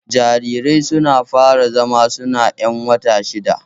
Jarirai suna fara zama suna ƴan wata shida